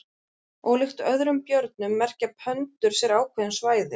Ólíkt öðrum björnum merkja pöndur sér ákveðin svæði.